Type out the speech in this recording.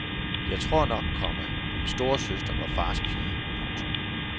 Jeg tror nok, komma min storesøster var fars pige. punktum